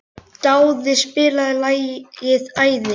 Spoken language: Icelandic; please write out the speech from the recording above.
Dáð, spilaðu lagið „Æði“.